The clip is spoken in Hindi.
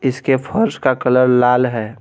इसके फर्श का कलर लाल है।